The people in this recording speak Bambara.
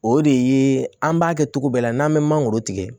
O de ye an b'a kɛ cogo bɛɛ la n'an bɛ mangoro tigɛ